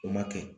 O ma kɛ